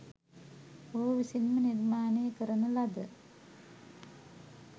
ඔහු විසින්ම නිර්මාණය කරන ලද